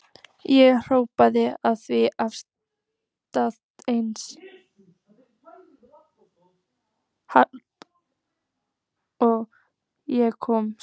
Ég hljóp því af stað eins hratt og ég komst.